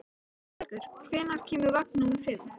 Þorbergur, hvenær kemur vagn númer fimm?